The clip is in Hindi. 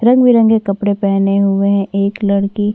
रंग-बिरंगे कलर के कपड़े पहने हुए हैं एक लड़की--